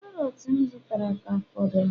Karọt m zụtara ka fọdụrụ